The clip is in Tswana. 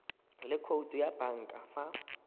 le khoutu ya banka fa